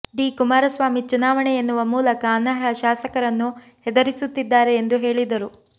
D Kumaraswamy ಚುನಾವಣೆ ಎನ್ನುವ ಮೂಲಕ ಅನರ್ಹ ಶಾಸಕರನ್ನು ಹೆದರಿಸುತ್ತಿದ್ದಾರೆ ಎಂದು ಹೇಳಿದರು